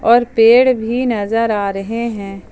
और पेड़ भी नज़र आ रहे है।